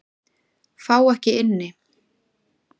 Fá ekki inni